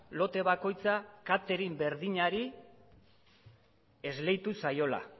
lote bakoitza katering berdinari esleitu zaiola